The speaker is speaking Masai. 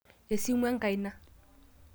esimu enkaina